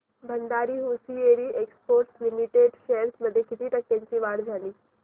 Bhandari hosiery exports limited shares मध्ये किती टक्क्यांची वाढ झाली